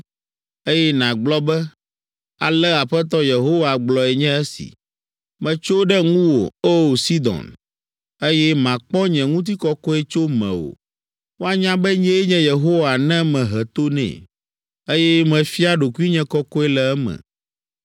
eye nàgblɔ be, ‘Ale Aƒetɔ Yehowa gblɔe nye esi: “ ‘Metso ɖe ŋuwò, O! Sidon, eye makpɔ nye ŋutikɔkɔe tso mewò. Woanya be nyee nye Yehowa ne mehe to nɛ, eye mefia ɖokuinye kɔkɔe le eme.